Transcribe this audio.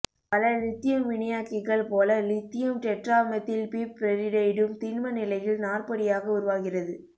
பல இலித்தியம் வினையாக்கிகள் போல இலித்தியம் டெட்ராமெத்தில்பிப்பெரிடைடும் திண்மநிலையில் நாற்படியாக உருவாகிறது